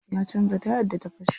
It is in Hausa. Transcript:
Ya canza tayar da ta fashe.